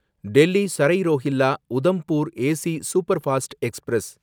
Delhi Sarai Rohilla Udhampur AC superfast express